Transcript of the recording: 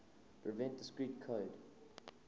prevent discrete code